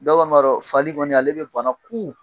Bɛɛ kɔni b'a don fali kɔni ale bɛ bana kuun.